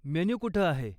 Menu कुठं आहे?